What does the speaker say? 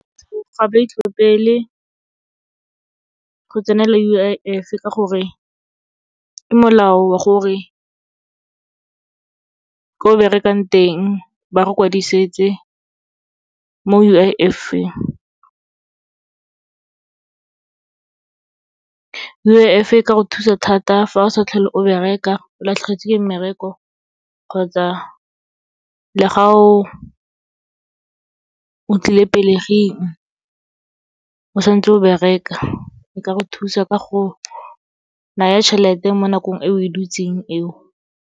Ga ba itlhophele go tsenela U_I_F, ka gore ke molao wa gore ko o berekang teng ba re kwadisetse mo U_I_F-eng. U_I_F e ka go thusa thata fa o sa tlhole o bereka, o latlhegetswe ke mmereko kgotsa le ga o tlile pelegeng, o santse o bereka. E ka go thusa ka go naya tjhelete mo nakong e o e butseng eo.